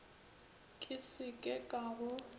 ke se ke ka go